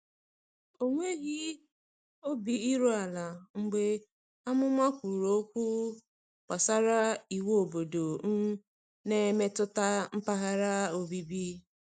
Ọ nweghị obi iru ala mgbe amụma kwuru okwu gbasara iwu obodo um na-emetụta mpaghara obibi.